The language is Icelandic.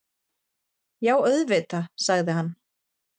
Já, auðvitað- sagði hann.